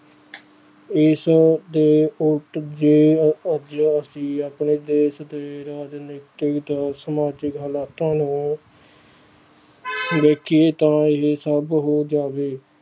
ਇਸ ਦੇ ਉੱਲਟ ਜੇ ਅਸੀ ਆਪਣੇ ਦੇਸ ਦੇ ਰਾਜਨੀਤਿਕ ਤੇ ਸਮਾਜਿਕ ਹਾਲਾਤਾਂ ਨੂੰ ਦੇਖੀਏ ਤਾਂ ਇਹ ਸਭ ਹੋ ਜਾਵੇ